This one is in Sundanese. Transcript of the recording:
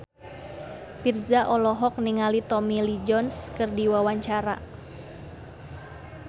Virzha olohok ningali Tommy Lee Jones keur diwawancara